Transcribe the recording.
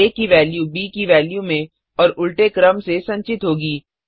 आ की वेल्यू ब की वेल्यू में और उल्टे क्रम से संचित होगी